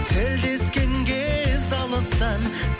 тілдескен кез алыстан